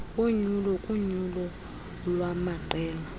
wonyulo kunyulo lwamaqela